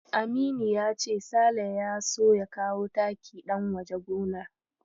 Aminu ya ce Sale ya so ya kawo taki ɗan waje gonar.